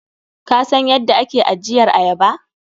Kasan yadda ake ajiyar ayaba?